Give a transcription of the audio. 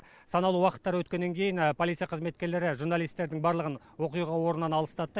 санаулы уақыттар өткеннен кейін полиция қызметкерлері журналистердің барлығын оқиға орнынан алыстатты